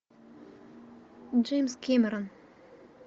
джеймс кэмерон